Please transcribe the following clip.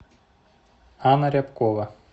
анна рябкова